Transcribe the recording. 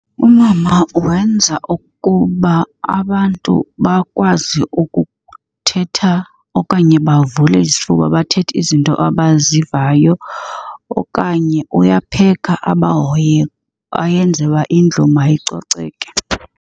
Umama wenza ukuba abantu bakwazi ukuthetha okanye bavule isifuba bathethe izinto abazivayo okanye uyapheka abahoye ayenze uba indlu mayicoceke.